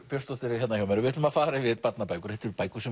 Björnsdóttir er hérna hjá mér við ætlum að fara yfir barnabækur þetta eru bækur sem